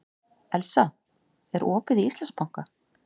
Elsa, er opið í Íslandsbanka?